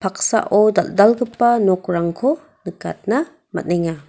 paksao dal·dalgipa nokrangko nikatna man·enga.